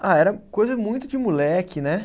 Ah, era coisa muito de moleque né